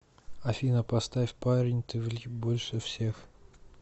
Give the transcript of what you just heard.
афина поставь парень ты влип большевсех